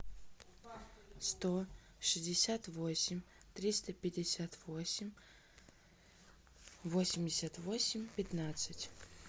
сто шестьдесят восемь триста пятьдесят восемь восемьдесят восемь пятнадцать